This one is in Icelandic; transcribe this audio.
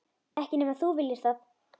Ekki nema þú viljir það.